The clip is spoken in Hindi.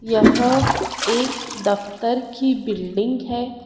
यहा एक दफ्तर की बिल्डिंग है।